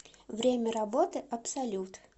время работы абсолют